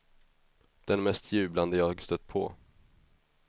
Den mest jublande jag stött på.